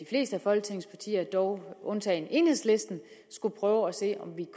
folketingets partier dog undtagen enhedslisten skulle prøve at se om vi